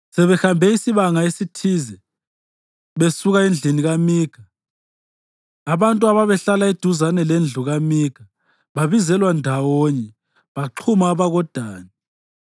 Sebehambe isibanga esithize besuka endlini kaMikha, abantu ababehlala eduzane lendlu kaMikha babizelwa ndawonye baxhuma abakoDani.